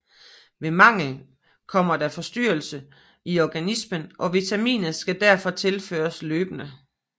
Ved mangel kommer der forstyrrelse i organismen og vitaminet skal derfor tilføres løbende